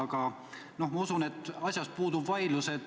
Aga ma usun, et asjas puudub vaidlus.